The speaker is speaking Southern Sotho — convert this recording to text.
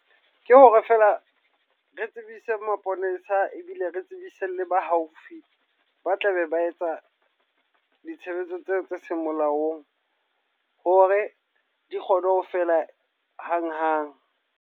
Ke hore feela re tsebise maponesa ebile re tsebise le ba haufi, ba tlabe ba etsa ditshebetso tseo tse seng molaong. Hore di kgone ho fela hang-hang.